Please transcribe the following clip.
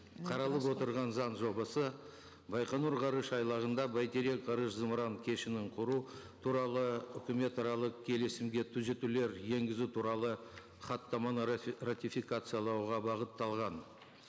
қаралып отырған заң жобасы байқоңыр ғарыш айлағында бәйтерек ғарыш зымыран кешенін құру туралы үкіметаралық келісімге түзетулер енгізу туралы хаттаманы ратификациялауға бағытталған